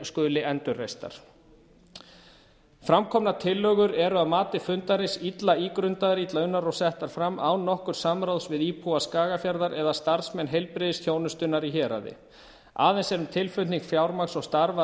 skuli endurreistar fram komnar tillögur eru að mati fundarins illa ígrundaðar illa unnar og settar fram án nokkurs samráðs við íbúa skagafjarðar eða starfsmenn heilbrigðisþjónustunnar í héraði aðeins er um tilflutning fjármagns og starfa að